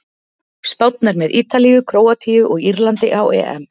Spánn er með Ítalíu, Króatíu og Írlandi á EM.